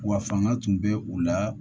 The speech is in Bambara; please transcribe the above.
Wa fanga tun bɛ u la